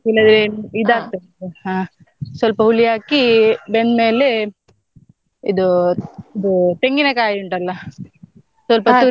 ಇಲ್ಲದ್ರೆ ಇದಾಗ್ತದೆ ಹಾ ಸ್ವಲ್ಪ ಹುಳಿ ಹಾಕಿ ಬೆಂದ್ಮೇಲೆ ಇದು ಇದೂ ತೆಂಗಿನಕಾಯಿ ಉಂಟಲ್ಲ ಸ್ವಲ್ಪ ತುರ್ದು.